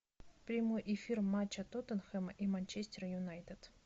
прямой эфир матча тоттенхэма и манчестер юнайтед